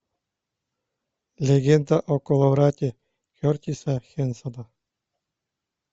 легенда о коловрате кертиса хэнсона